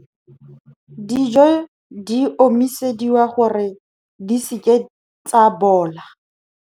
Dijo di omisediwa gore, di seke tsa bola.